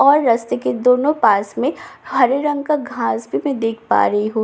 और रस्ते के दोनों पास में हरे रंग का घास भी मैं देख पा रही हूँ रस--